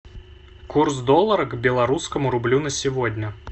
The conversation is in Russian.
курс доллара к белорусскому рублю на сегодня